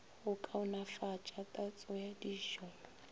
go kaonefatša tatso ya dijo